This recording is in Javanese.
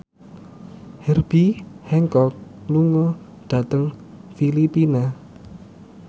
Herbie Hancock lunga dhateng Filipina